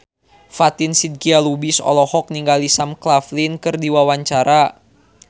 Fatin Shidqia Lubis olohok ningali Sam Claflin keur diwawancara